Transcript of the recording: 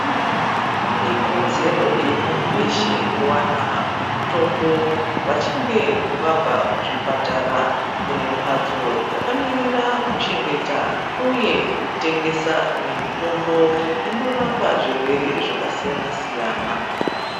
Ikodzero yemuntu weshe kuwana mitombo, vachinge vabva kuzvipatara. Kune mphatso dzakamirira kuchengeta uye kutengesa mitombo inorapa zvirwere zvakasiyana-siyana.